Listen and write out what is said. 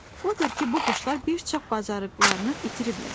Odur ki, bu quşlar bir çox bacarıqlarını itiriblər.